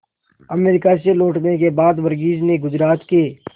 America से लौटने के बाद वर्गीज ने गुजरात के